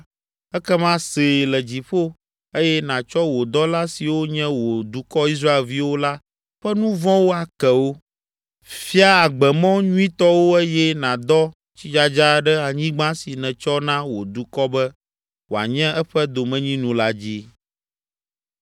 ekema see le dziƒo eye nàtsɔ wò dɔla siwo nye wò dukɔ Israelviwo la ƒe nu vɔ̃wo ake wo. Fia agbemɔ nyuitɔ wo eye nàdɔ tsidzadza ɖe anyigba si nètsɔ na wò dukɔ be wòanye eƒe domenyinu la dzi.